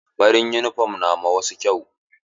Farin yunifom na ma wasu kyau.